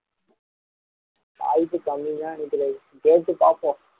வாய்ப்பு கம்மி தான் விவேக் கேட்டு பார்ப்போம்